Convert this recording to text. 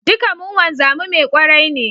Duka mun wanzami mai kwarai ne